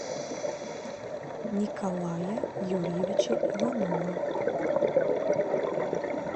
николая юрьевича иванова